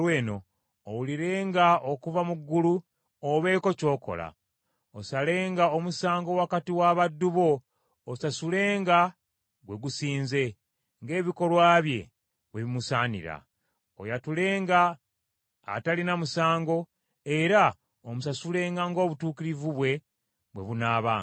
owulirenga okuva mu ggulu, obeeko ky’okola. Osalenga omusango wakati w’abaddu bo osasulenga gwe gusinze, ng’ebikolwa bye bwe bimusaanira. Oyatulenga atalina musango, era omusasulenga ng’obutuukirivu bwe, bwe bunaabanga.